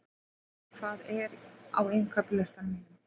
Eðvar, hvað er á innkaupalistanum mínum?